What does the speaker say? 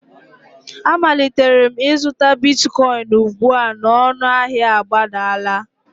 Amalitere m izụta bitkoịn ugbu a na ọnụahịa agbadala.